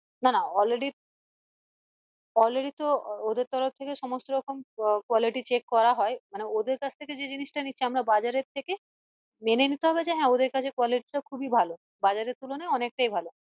না না already already তো ওদের তরফ থেকে সমস্ত রকম আহ quality check করা হয় মানে ওদের কাছ থেকে যে জিনিস তা নিচ্ছি আমরা বাজারের থেকে মেনে নিতে হবে যে হ্যাঁ ওদের কাছে quality টা খুবই ভালো বাজারের তুলনায় অনেক টাই ভালো